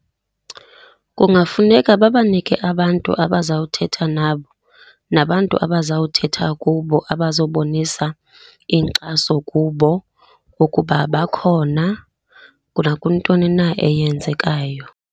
Kungafuneka babanike abantu abazawuthetha nabo, nabantu abazawuthetha kubo abazobonisa inkxaso kubo ukuba bakhona nakwintoni na eyenzekayo.